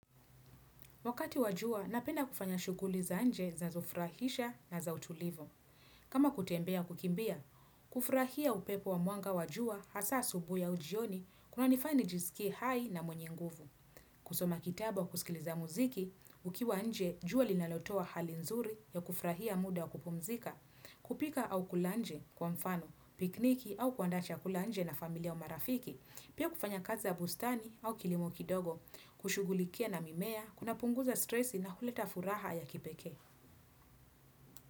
Wakati wa jua, napenda kufanya shughuli za nje zinafurahisha na za utulivu. Kama kutembea kukimbia, kufurahia upepo wa mwanga wa jua, hasa asubuhi au jioni, kunanifanya nijisikie hai na mwenye nguvu. Kusoma kitabu au kusikiliza muziki, ukiwa nje, jua linalotoa hali nzuri ya kufurahia muda kupumzika, kupika au kula nje kwa mfano, pikniki au kuanda chakula nje na familia au marafiki. Pia kufanya kazi za bustani au kilimo kidogo, kushughulikia na mimea, kunapunguza stresi na huleta furaha ya kipeke.